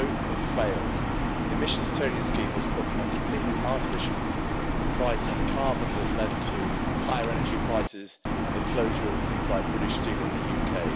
Both have failed. The Emissions Trading Scheme has put a completely artificial price on carbon that has led to higher energy prices and the closure of things like British Steel in the UK.